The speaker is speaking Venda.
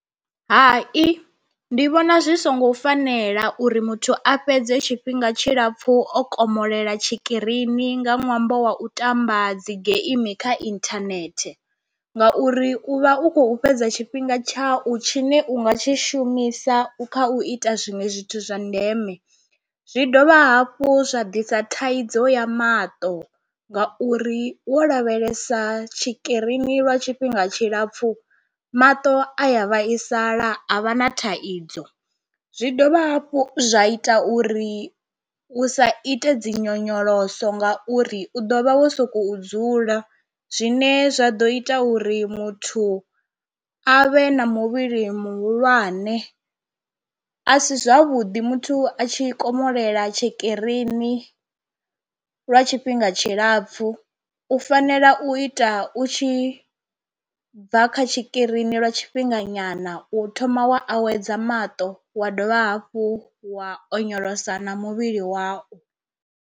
Hai, ndi vhona zwi songo fanela uri muthu a fhedze tshifhinga tshilapfhu o komolela tshikirini nga ṅwambo wa u tamba dzi geimi kha inthanethe ngauri u vha u khou fhedza tshifhinga tshau tshi ne u nga tshi shumisa u kha u ita zwiṅwe zwithu zwa ndeme, zwi dovha hafhu zwa ḓisa thaidzo ya maṱo ngauri wo lavhelesa tshikirini lwa tshifhinga tshilapfhu maṱo a ya vhaisala a vha na thaidzo, zwi dovha hafhu zwa ita uri u sa ite dzinyonyoloso ngauri u ḓo vha wo sokou dzula zwine zwa ḓo ita uri muthu a vhe na muvhili muhulwane. A si zwavhuḓi muthu a tshi komolela tshikirini lwa tshifhinga tshilapfu u fanela u ita u tshi bva kha tshikirini lwa tshifhinga nyana u thoma wa awedza maṱo wa dovha hafhu wa onyolosa na muvhili wa u.